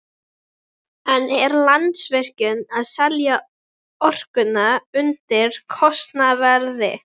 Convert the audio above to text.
En er Landsvirkjun að selja orkuna undir kostnaðarverði?